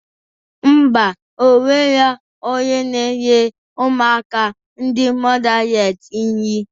Mba, onwero onye na-enye ụmụaka ndị mọdales nri